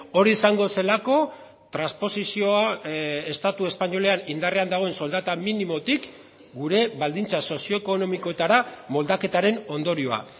hori izango zelako transposizioa estatu espainolean indarrean dagoen soldata minimotik gure baldintza sozioekonomikoetara moldaketaren ondorioa